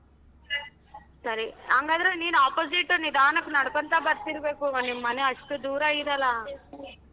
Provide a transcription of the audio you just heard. ಸರಿ ಹಂಗಾದ್ರೆ ನೀನ್ opposite ನಿಧಾನಕ್ ನಡ್ಕಂತಾ ಬರ್ತಿರ್ಬೇಕು ನಿಮ್ಮನೆ ಅಷ್ಟು ದೂರ ಇದೆಲ್ಲ.